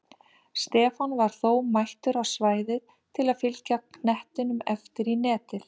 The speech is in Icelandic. Stefán var þó mættur á svæðið til að fylgja knettinum eftir í netið!